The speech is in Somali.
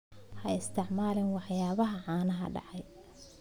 Ha isticmaalin waxyaabaha caanaha dhacay.